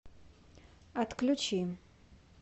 отключи